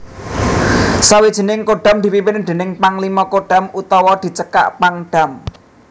Sawijining Kodam dipimpin déning Panglima Kodam utawa dicekak Pangdam